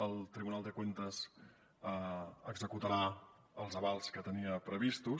el tribunal de cuentas executarà els avals que tenia previstos